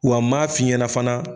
Wa m'a f'i ɲɛna fana.